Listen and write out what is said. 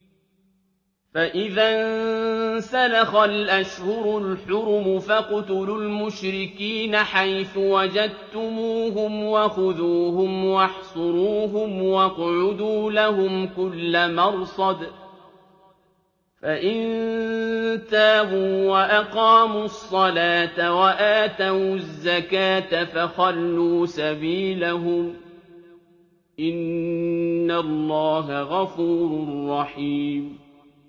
فَإِذَا انسَلَخَ الْأَشْهُرُ الْحُرُمُ فَاقْتُلُوا الْمُشْرِكِينَ حَيْثُ وَجَدتُّمُوهُمْ وَخُذُوهُمْ وَاحْصُرُوهُمْ وَاقْعُدُوا لَهُمْ كُلَّ مَرْصَدٍ ۚ فَإِن تَابُوا وَأَقَامُوا الصَّلَاةَ وَآتَوُا الزَّكَاةَ فَخَلُّوا سَبِيلَهُمْ ۚ إِنَّ اللَّهَ غَفُورٌ رَّحِيمٌ